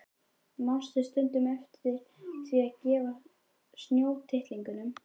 Manstu stundum eftir því að gefa snjótittlingunum?